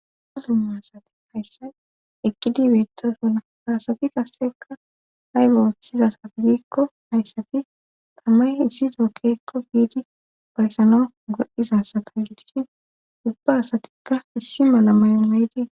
ha dumma asati hayssa eqqidibeeto duuna hasati kasseka haybe woththizasafidikko hayssati tamay issi tookekko biidi bayssana godhdizasata gidishi ubba asatikka issi mala mayomeydii